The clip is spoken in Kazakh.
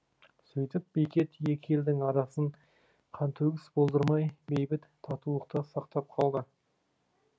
сөйтіп бекет екі елдің арасын қантөгіс болдырмай бейбіт татулықта сақтап қалған